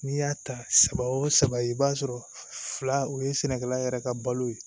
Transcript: N'i y'a ta saba o saba i b'a sɔrɔ fila o ye sɛnɛkɛla yɛrɛ ka balo ye